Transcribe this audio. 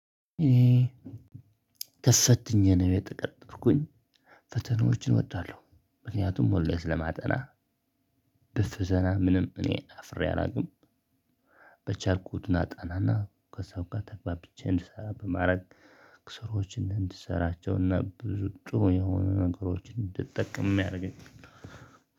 ተፈትኜ ነው የተቀጠርኩኝ ፈተናዎችን እወዳለሁ ምክንያቱም ሁሌ ስለማጠና ደስ ዘና ምንም እኔ አፍሬ አላውቅም። በቻልኩት አጠናና ጠናና ከሰው ጋር ተግባብቼ እንድስራ በማድረግ። ስራወችን እንድሰራቸውና ብዙ ጥሩ የሆኑ ነገሮችን እንድጠቀም ያደርገኛል።